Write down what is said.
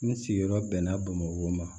N sigiyɔrɔ bɛnna bamakɔ ma